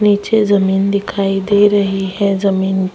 नीचे जमीन दिखाई दे रही हैं जमीन--